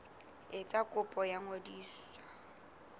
etsa kopo ya ho ngodisa